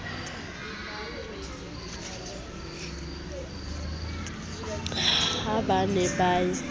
ha ba ne ba ye